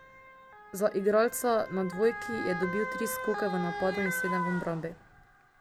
Za igralca na dvojki je dobil tri skoke v napadu in sedem v obrambi.